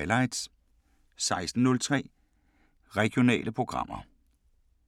14:03: Povlsen & Holm: Highlights 16:03: Regionale programmer